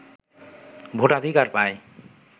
ভোটাধিকার পায়